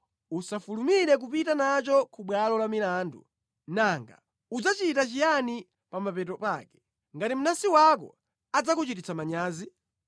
usafulumire kupita nacho ku bwalo la milandu nanga udzachita chiyani pa mapeto pake ngati mnansi wako adzakuchititsa manyazi?